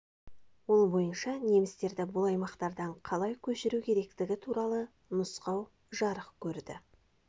ол бойынша немістерді бұл аймақтардан қалай көшіру керектігі туралы нұсқау жарық көрді